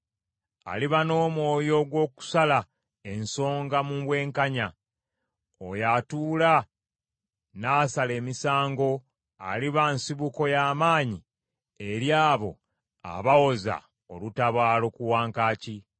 Aliba n’omwoyo ogw’okusala ensonga mu bwenkanya oyo atuula n’asala emisango, Aliba nsibuko ya maanyi eri abo abawoza olutabaalo ku wankaaki.